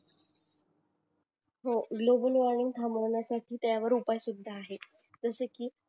हो global warming थांबवण्यासाटी त्यावर उपाय सुद्धा आहेत जस कि